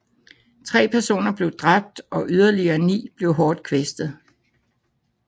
Tre personer blev dræbt og yderligere ni blev hårdt kvæstet